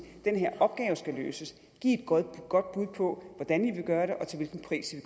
den her opgave skal løses giv et godt bud på hvordan i vil gøre det og til hvilken pris i